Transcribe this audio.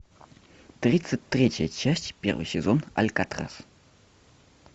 тридцать третья часть первый сезон алькатрас